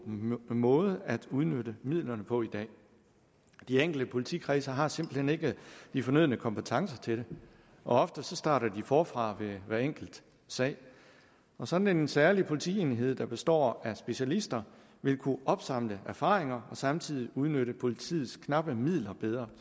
måde at udnytte midlerne på i dag de enkelte politikredse har simpelt hen ikke de fornødne kompetencer til det og ofte starter de forfra ved hver enkelt sag sådan en særlig politienhed der består af specialister vil kunne opsamle erfaringer og samtidig udnytte politiets knappe midler bedre